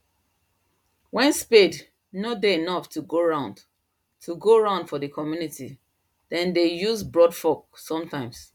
when spade nor dey enough to go round to go round for the community them dey use broadfork sometimes